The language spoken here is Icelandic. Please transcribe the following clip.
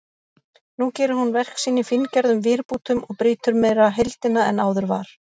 Nú gerir hún verk sín í fíngerðum vírbútum og brýtur meira heildina en áður var.